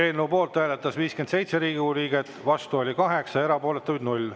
Eelnõu poolt hääletas 57 Riigikogu liiget, vastu oli 8, erapooletuid 0.